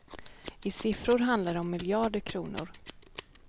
I siffror handlar det om miljarder kronor.